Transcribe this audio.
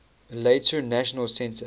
later national centre